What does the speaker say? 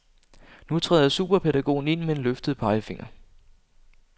Nu træder superpædagogen ind med en løftet pegefinger.